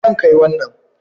Zan kai wannan